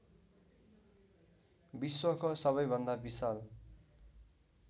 विश्वको सबैभन्दा विशाल